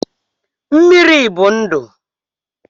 Mmiri bụ ndụ